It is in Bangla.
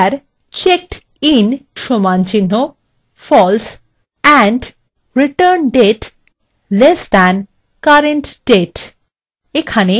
where checkedin = false and returndate <current _ date